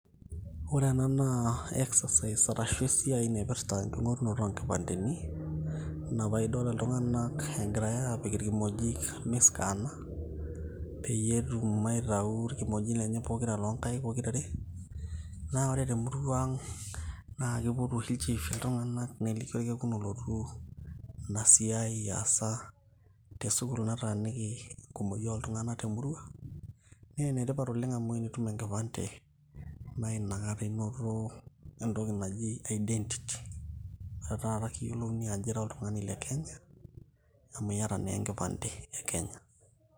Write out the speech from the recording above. ore ena naa exercise arshu esiai naipirrta enking'orunoto onkipandeni ina paa idol iltung'anak egirae apik irkimojik miskana peyie etum aitau irkimojik lenye pokira lonkaik pokirare naa ore temurua ang naa kipotu oshi ilchifi iltung'anak neliki orkekun olotu ina siai aasa tesukul nataaniki enkumoki oltung'anak temurua naa enetipat oleng amu enitum enkipande naa inakata inoto entoki naji identity ore taata kiyiolouni ajo ira oltung'ani le kenya amu iyata naa enkipande e kenya.